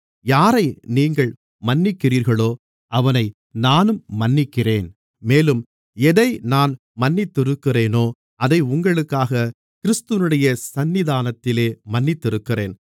யாரை நீங்கள் மன்னிக்கிறீர்களோ அவனை நானும் மன்னிக்கிறேன் மேலும் எதை நான் மன்னித்திருக்கிறேனோ அதை உங்களுக்காக கிறிஸ்துவினுடைய சந்நிதானத்திலே மன்னித்திருக்கிறேன்